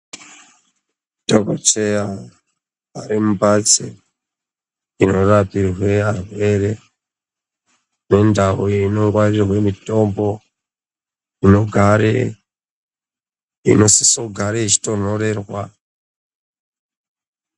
Dhokoteya ari mumbatso inorapirwe arwere Nendau inongwarirwe mitombo inosise kugara yeitonhorerwa.